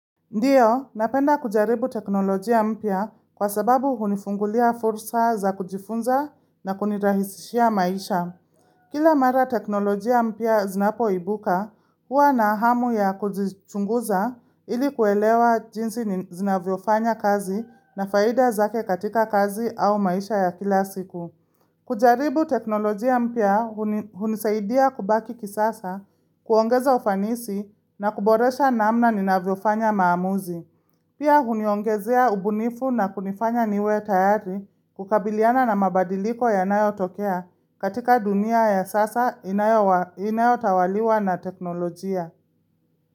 Ndio, napenda kujaribu teknolojia mpya kwa sababu hunifungulia fursa za kujifunza na kunirahisishia maisha. Kila mara teknolojia mpya zinapoibuka, huwa na hamu ya kujichunguza ili kuelewa jinsi zinavyofanya kazi na faida zake katika kazi au maisha ya kila siku. Kujaribu teknolojia mpya hunisaidia kubaki kisasa, kuongeza ufanisi na kuboresha namna nina vyofanya maamuzi. Pia huniongezea ubunifu na kunifanya niwe tayari kukabiliana na mabadiliko ya nayo tokea katika dunia ya sasa inayo tawaliwa na teknolojia.